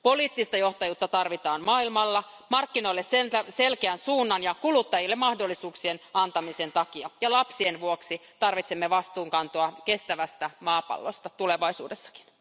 Poliittista johtajuutta tarvitaan maailmalla markkinoille selkeän suunnan ja kuluttajille mahdollisuuksien antamisen takia ja lapsien vuoksi tarvitsemme vastuunkantoa kestävästä maapallosta tulevaisuudessakin.